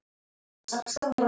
Fimm sumur